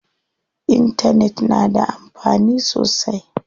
Intanet na da amfani sosai.